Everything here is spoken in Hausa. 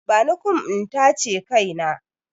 Bani kum in tace kai na!